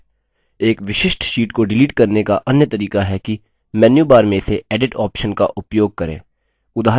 एक विशिष्ट sheet को डिलीट करने का अन्य तरीका है कि मेन्यूबार में से edit option का उपयोग करें